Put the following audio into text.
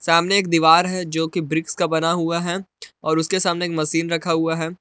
सामने एक दीवार है जोकि ब्रिक्स का बना हुआ है और उसके सामने एक मशीन रखा हुआ है।